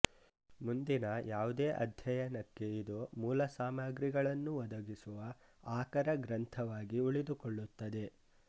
ಮುಂದಿನ ಯಾವುದೇ ಅಧ್ಯಯನಕ್ಕೆ ಇದು ಮೂಲಸಾಮಗ್ರಿಗಳನ್ನು ಒದಗಿಸುವ ಆಕರ ಗ್ರಂಥವಾಗಿ ಉಳಿದುಕೊಳ್ಳುತ್ತದೆ